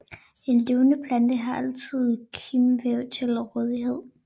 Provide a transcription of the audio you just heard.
En levende plante har altid kimvæv til rådighed